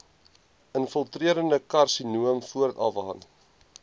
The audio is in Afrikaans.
infiltrerende karsinoom voorafgaan